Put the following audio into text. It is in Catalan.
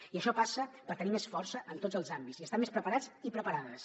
i això passa per tenir més força en tots els àmbits i estar més preparats i preparades